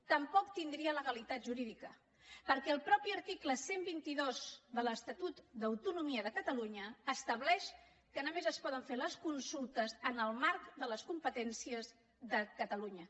tampoc tindria legalitat jurídica perquè el mateix article cent i vint dos de l’estatut d’autonomia de catalunya estableix que només es poden fer les consultes en el marc de les competències de catalunya